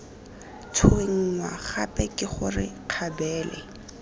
tshwenngwa gape ke gore kgabele